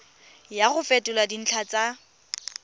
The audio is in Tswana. ya go fetola dintlha tsa